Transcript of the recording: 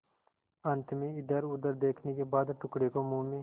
अंत में इधरउधर देखने के बाद टुकड़े को मुँह में